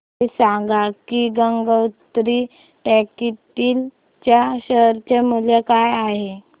हे सांगा की गंगोत्री टेक्स्टाइल च्या शेअर चे मूल्य काय आहे